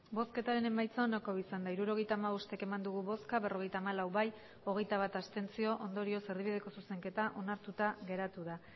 emandako botoak hirurogeita hamabost bai berrogeita hamalau abstentzioak hogeita bat ondorioz erdibideko zuzenketa onartuta geratu da